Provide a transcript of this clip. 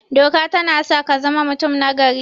Doka tana sa kazama mutum nagari